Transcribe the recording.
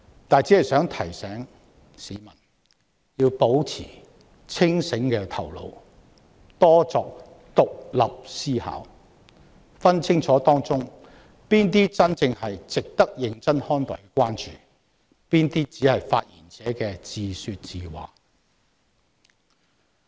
不過，我想提醒市民，他們應要保持清醒的頭腦，多作獨立思考，分辨清楚當中哪些是真正值得認真看待的關注，哪些只是發言者自說自話。